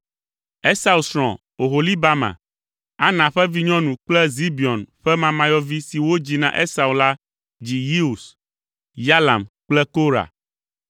Esau srɔ̃ Oholibama, Ana ƒe vinyɔnu kple Zibeon ƒe mamayɔvi si wodzi na Esau la dzi Yeus, Yalam kple Korah.